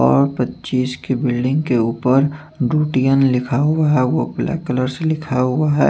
और पचीस की बिल्डिंग के ऊपर दूटीअन लिखा हुआ है और वो ब्लैक कलर से लिखा हुआ है।